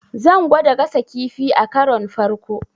Zan gwada gasa kifi akaron farko.